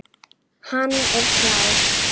Hann er klár.